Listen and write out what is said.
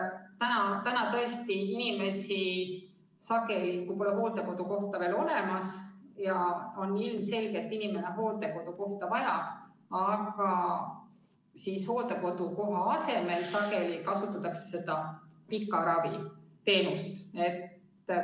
Tõesti, sageli, kui inimesele pole hooldekodukohta veel olemas, aga ilmselgelt on seda vaja, kasutatakse hooldekodukoha asemel pika ravi teenust.